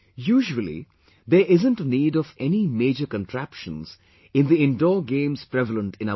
Usually there isn't a need of any major contraptions in the indoor games prevalent in our country